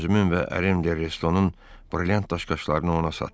Özümün və ərimdə De Restonun brilliant daşqaşlarını ona satdım.